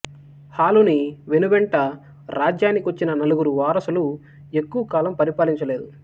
హాలుని వెనువెంట రాజ్యానికొచ్చిన నలుగురు వారసులు ఎక్కువ కాలం పరిపాలించలేదు